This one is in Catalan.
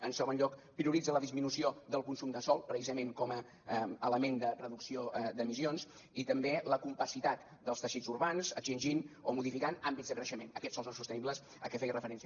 en segon lloc prioritza la disminució del consum de sòl precisament com a element de reducció d’emissions i també la compacitat dels teixits urbans extingint o modificant àmbits de creixement aquests sòls no sostenibles a què feia referència